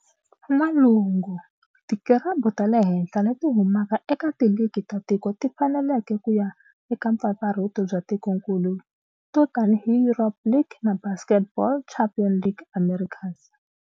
N'walungu, tikirabhu ta le henhla leti humaka eka tiligi ta tiko ti fanelekela ku ya eka mpfampfarhuto bya tikonkulu to tanihi EuroLeague na Basketball Champions League Americas.